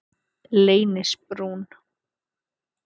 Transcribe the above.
Leynisbrún